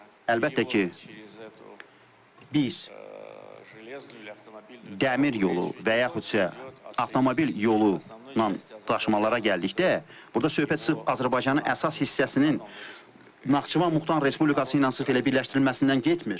Əlbəttə ki, biz dəmir yolu və yaxutsa avtomobil yolu ilə daşımalara gəldikdə, burda söhbət sırf Azərbaycanın əsas hissəsinin Naxçıvan Muxtar Respublikası ilə sırf elə birləşdirilməsindən getmir.